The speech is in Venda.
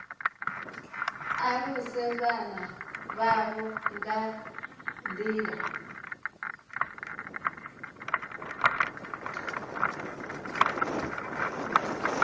aluse vhana vhavho nga nḓila